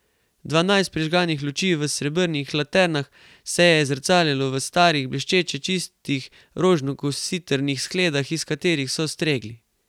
Dvanajst prižganih luči v srebrnih laternah se je zrcalilo v starih blesteče čistih rožno kositrnih skledah, iz katerih so stregli.